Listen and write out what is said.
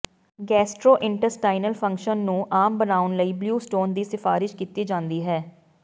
gastrointestinal function ਨੂੰ ਆਮ ਬਣਾਉਣ ਲਈ ਬਲਿਊ ਸਟੋਨ ਦੀ ਸਿਫਾਰਸ਼ ਕੀਤੀ ਜਾਂਦੀ ਹੈ